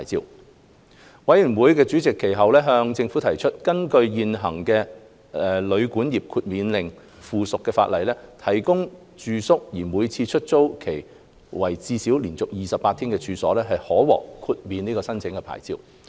法案委員會主席其後向政府提出，根據現行的《旅館業令》附屬法例，提供住宿而每次出租期為至少連續28天的處所，可獲豁免申請牌照。